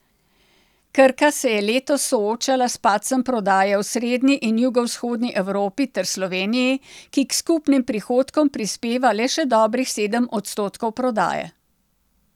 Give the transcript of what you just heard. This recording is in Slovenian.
Krka se je letos soočala s padcem prodaje v srednji in jugovzhodni Evropi ter Sloveniji, ki k skupnim prihodkom prispeva le še dobrih sedem odstotkov prodaje.